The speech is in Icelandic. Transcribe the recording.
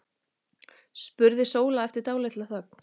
spurði Sóla eftir dálitla þögn.